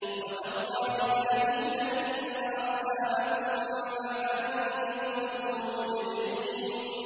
وَتَاللَّهِ لَأَكِيدَنَّ أَصْنَامَكُم بَعْدَ أَن تُوَلُّوا مُدْبِرِينَ